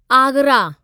Agra